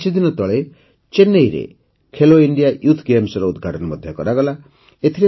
ଏଇ କିଛିଦିନ ତଳେ ଚେନ୍ନଇରେ ଖେଲୋ ଇଣ୍ଡିୟା ୟୁଥ୍ ଗେମ୍ସର ଉଦଘାଟନ ମଧ୍ୟ କରାଗଲା